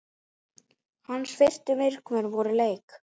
Hans fyrstu viðbrögð eftir leik?